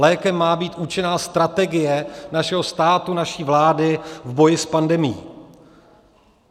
Lékem má být účinná strategie našeho státu, naší vlády v boji s pandemií.